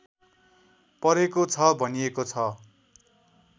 परेको छ भनिएको छ